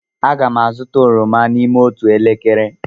Aga m azụta oroma n'ime otu elekere.